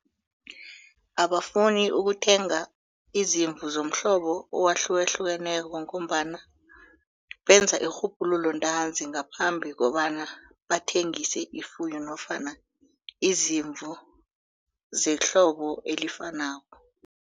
Abafuni ukuthenga izimvu zomhlobo owahlukahlukeneko ngombana benza irhubhululo ntanzi ngaphambi kobana bathengise ifuyo nofana izimvu zehlobo elifanako.